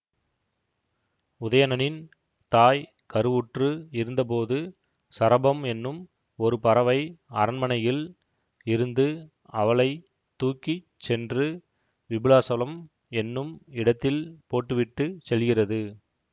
உதயணனின் தாய் கருவுற்று இருந்தபோது சரபம் என்னும் ஒரு பறவை அரண்மனையில் இருந்து அவளை தூக்கி சென்று விபுலாசலம் என்னும் இடத்தில் போட்டு விட்டு செல்கிறது